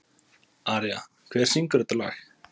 Aría, hver syngur þetta lag?